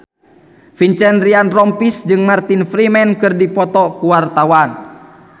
Vincent Ryan Rompies jeung Martin Freeman keur dipoto ku wartawan